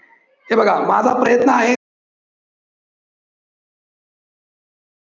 हे बघा, माझा प्रयत्न आहेच.